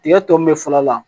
Tigɛ tɔ min bɛ falen a la